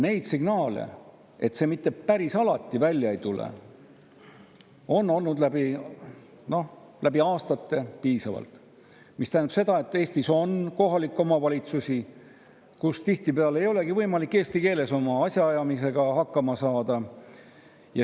Neid signaale, et see mitte päris alati välja ei tule, on olnud läbi aastate piisavalt, mis tähendab, et Eestis on kohalikke omavalitsusi, kus tihtipeale ei olegi võimalik eesti keeles asjaajamisega hakkama saada.